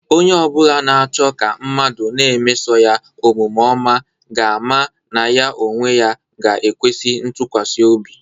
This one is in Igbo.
Onye obula na-cho ka mmadu na-emeso ya omvme oma ga-ama na ya onwe ya ga-ekwesi itukwasi obi.